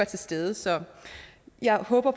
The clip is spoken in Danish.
til stede så jeg håber